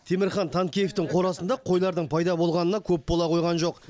темірхан танкеевтің қорасында қойлардың пайда болғанына көп бола қойған жоқ